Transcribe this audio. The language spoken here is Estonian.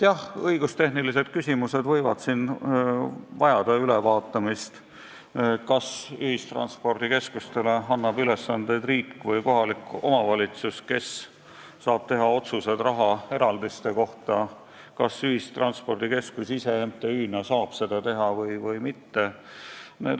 Jah, õigustehnilised küsimused võivad siin vajada ülevaatamist: kas ühistranspordikeskustele annab ülesandeid riik või kohalik omavalitsus, kes saab teha otsused rahaeraldiste kohta, kas ühistranspordikeskus ise MTÜ-na või mitte.